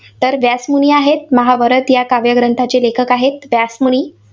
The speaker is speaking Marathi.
तर व्यासमुनी आहेत, महाभारत या काव्यग्रंथाचे लेखक आहेत व्यासमुनी.